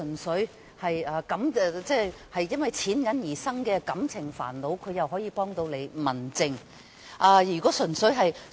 市民如果因為金錢而引發感情煩惱，這應由民政方面處理。